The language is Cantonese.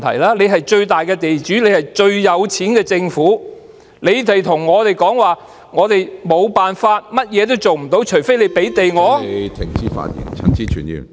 政府是最大的地主，亦最富有，但卻向我們說道無計可施，除非我們給予他們土地......